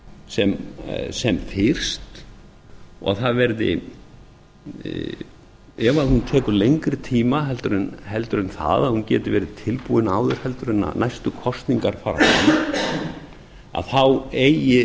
sem fyrst og ef hún tekur lengri tíma en það að hún geti verið tilbúin áður en næstu kosningar fara fram þá eigi